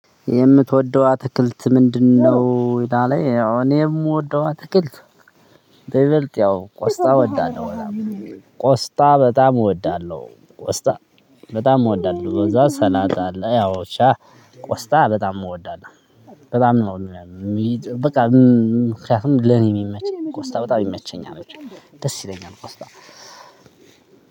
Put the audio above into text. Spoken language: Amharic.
የምትወደው አትክልት ምንድነው? ላለው ያው እኔ የምወደው አትክልት በይበልጥ ቆስጣ እወዳለሁ በጣም ቆስጣ በጣም እወዳለሁ ቆስጣ በጣም እወዳለሁ ከዛ ሰላጣ አለ። ያው ብቻ። ቆስጣ በጣም እወዳለሁ። በጣም ነው ቆስጣ በጣም ይመቸኛል። ደስ